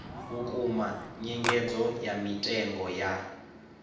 vhukuma nyengedzo ya mitengo ya